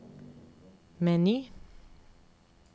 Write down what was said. meny